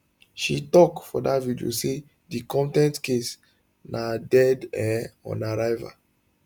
she tok for dat video say di contempt case na dead um on arrival